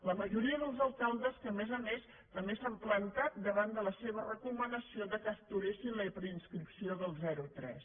la majoria dels alcaldes que a més a més també s’han plantat davant de la seva recomanació que aturessin la preinscripció dels zero tres